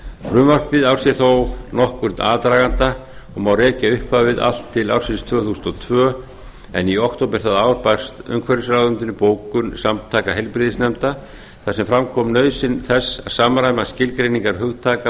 frumvarpið á sér þó nokkurn aðdraganda og má rekja upphafið allt til ársins tvö þúsund og tvö en í október það ár barst heilbrigðisráðuneytinu bókun samtaka heilbrigðisyfirvalda þar sem fram kom nauðsyn þess að samræma skilgreiningarhugtak